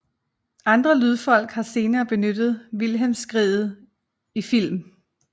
Andre lydfolk har senere benyttet Wilhelmskriget i film